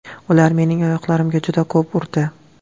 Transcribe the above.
Ular mening oyoqlarimga juda ko‘p urdi.